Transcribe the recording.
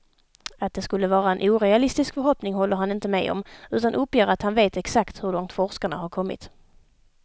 Att det skulle vara en orealistisk förhoppning håller han inte med om, utan uppger att han vet exakt hur långt forskarna har kommit.